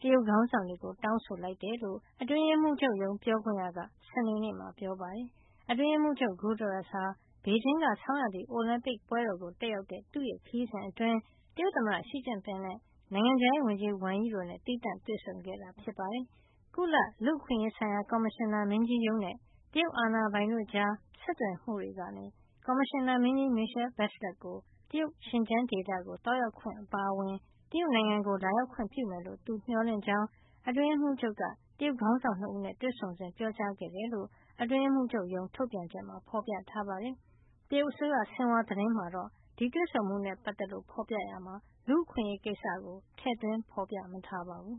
က တရုတ်ခေါင်းဆောင်တွေကို တောင်းဆိုလိုက်တယ်လို့ အတွင်းရေးမှူးချုပ် ပြောခွင့်ရက စနေနေ့မှာ ပြောပါတယ်။ အတွင်းရေးမှူးချုပ် Guterres ဟာ ဘေဂျင်းက ဆောင်းရာသီ အိုလံပစ်ပွဲကို တက်ရောက်တဲ့ သူ့ခရီးစဉ်အတွင်း တရုတ်သမ္မတ Xi Jinping နဲ့ နိုင်ငံခြားရေးဝန်ကြီး Wang Yi တို့နဲ့ သီးသန့်တွေ့ဆုံခဲ့တာ ဖြစ်ပါတယ်။ ကုလ လူ့အခွင့်အရေးဆိုင်ရာ ကော်မရှင်နာမင်းကြီးရုံးနဲ့ တရုတ်အာဏာပိုင်တို့ကြား ဆက်သွယ်မှုကနေ ကော်မရှင်နာမင်းကြီး Michelle Bachelet ကို တရုတ် ရှင်ကျန်းဒေသ သွားရောက်ခွင့် အပါအဝင် တရုတ်နိုင်ငံကို လာရောက်ခွင့်ပြုမယ်လို့ သူမျှော်လင့်ကြောင်း အတွင်းရေးမှူးချုပ်က တရုတ်ခေါင်းဆောင် ၂ ဦးနဲ့ တွေ့ဆုံစဉ် ပြောကြားခဲ့တယ်လို့ အတွင်းရေးမှူးချုပ်ရုံး ထုတ်ပြန်ချက်မှာ ဖော်ပြထားပါတယ်။ တရုတ်အစိုးရရဲ့ ဆင်ဟွာသတင်းမှာ တွေ့ဆုံမှုနဲ့ပတ်သက်လို့ ဖော်ပြရာမှာတော့ လူ့အခွင့်အရေးကိစ္စကို ထည့်သွင်းမထားပါဘူး။